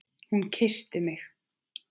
Hún kyssti mig!